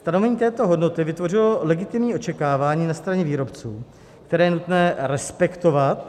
Stanovení této hodnoty vytvořilo legitimní očekávání na straně výrobců, které je nutné respektovat.